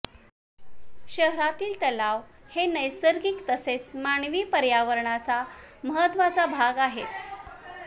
शहरातील तलाव हे नैसर्गिक तसेच मानवी पर्यावरणाचा महत्त्वाचा भाग आहेत